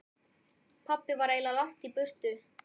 Pabbi var ægilega langt í burtu.